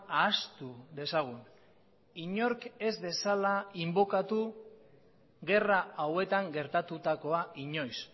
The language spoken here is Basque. ahaztu dezagun inork ez dezala inbokatu gerra hauetan gertatutakoa inoiz